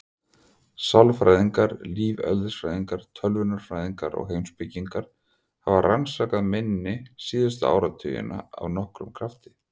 Sálfræðingar, lífeðlisfræðingar, tölvunarfræðingar og heimspekingar hafa rannsakað minni síðustu áratugina af nokkrum krafti.